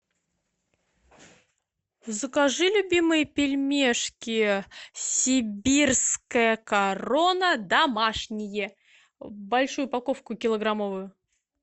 закажи любимые пельмешки сибирская корона домашние большую упаковку килограммовую